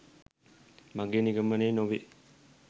මගේ නිගමනය නොවේ.